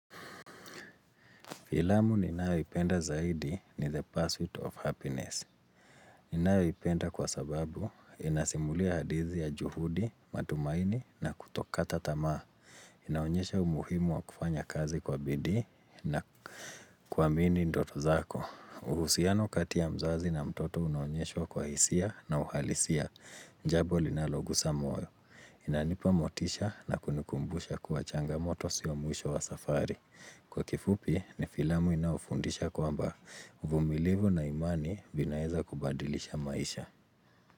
Filamu ninayoipenda zaidi ni the pursuit of happiness. Ninayoipenda kwa sababu, inasimulia hadithi ya juhudi, matumaini na kutokata tamaa. Inaonyesha umuhimu wa kufanya kazi kwa bidii na kwamini ndoto zako. Uhusiano kati ya mzazi na mtoto unaonyeshwa kwa hisia na uhalisia. Njambo linaloguza moyo. Inanipa motisha na kunikumbusha kuwa changamoto siyo mwisho wa safari. Kwa kifupi, ni filamu inafundisha kwamba uvumilivu na imani vinaeza kubadilisha maisha.